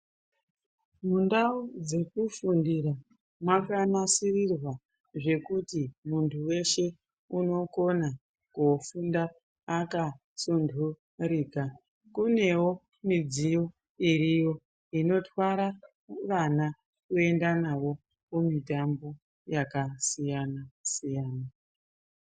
Mundau dzekufundira mwakanasirirwa zvekuti muntu weshe unokona koofunda akasunturika. Kunewo midziyo iriyo ,inotwara vana kuenda navo kumitambo yakasiyana-siyana.